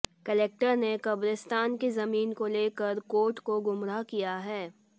collector ने कब्रिस्तान की जमीन को लेकर कोर्ट को गुमराह किया है